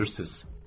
Gülürsüz.